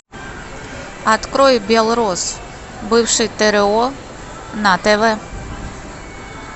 открой белрос бывший тро на тв